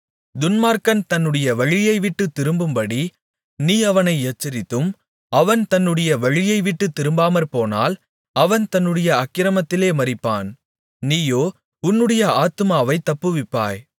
துன்மார்க்கன் தன்னுடைய வழியைவிட்டுத் திரும்பும்படி நீ அவனை எச்சரித்தும் அவன் தன்னுடைய வழியைவிட்டுத் திரும்பாமற்போனால் அவன் தன்னுடைய அக்கிரமத்திலே மரிப்பான் நீயோ உன்னுடைய ஆத்துமாவைத் தப்புவிப்பாய்